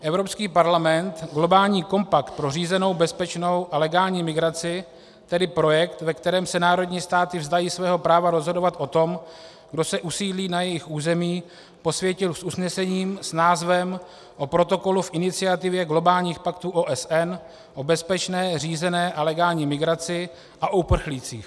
Evropský parlament globální kompakt pro řízenou, bezpečnou a legální migraci, tedy projekt, ve kterém se národní státy vzdají svého práva rozhodovat o tom, kdo se usídlí na jejich území, posvětil s usnesením s názvem O protokolu v iniciativě globálních paktů OSN o bezpečné, řízené a legální migraci a uprchlících.